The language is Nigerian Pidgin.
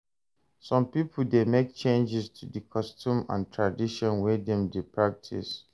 Some pipo de make changes to di custom and tradition wey dem de practice